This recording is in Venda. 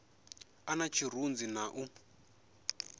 a na tshirunzi na u